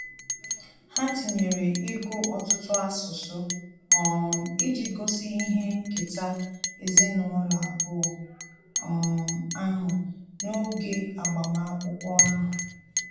Ha tinyere ịgụ ọtụtụ asụsụ um iji gosi ihe nketa ezinụlọ abụọ um ahụ n'oge agbamakwụkwọ ahu